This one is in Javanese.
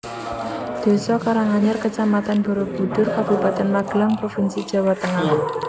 Désa Karanganyar Kecamatan Barabudhur Kabupaten Magelang provinsi Jawa Tengah